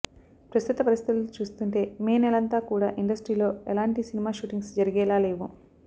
ప్రస్తుత పరిస్థితులు చూస్తుంటే మే నెలంతా కూడా ఇండస్ట్రీలో ఎలాంటి సినిమా షూటింగ్స్ జరిగేలా లేవు